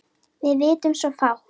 Við vitum svo fátt.